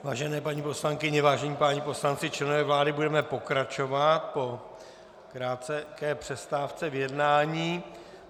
Vážené paní poslankyně, vážení páni poslanci, členové vlády, budeme pokračovat po krátké přestávce v jednání.